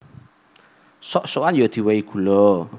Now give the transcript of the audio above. Sok sokan ya diwèhi gula